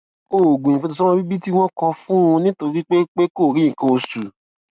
oògùn ìfètòsómọbíbí tí wón kọ fún un nítorí pé pé kò rí nǹkan oṣù